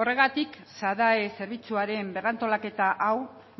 horregatik sadae zerbitzuaren berrantolaketa hau